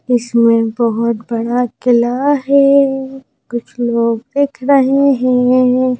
इसमें बहुत बड़ा किला है कुछ लोग देख रहे हैं।